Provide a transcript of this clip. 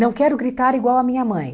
Não quero gritar igual a minha mãe.